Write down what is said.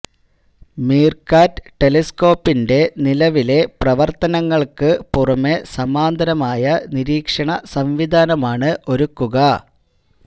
MeerKAT ടെലിസ്കോപ്പിന്റെ നിലവിലെ പ്രവര്ത്തനങ്ങള്ക്ക് പുറമേ സമാന്തരമായ നിരീക്ഷണ സംവിധാനമാണ് ഒരുക്കുക